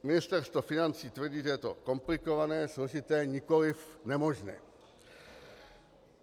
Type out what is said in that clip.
Ministerstvo financí tvrdí, že je to komplikované, složité, nikoli nemožné.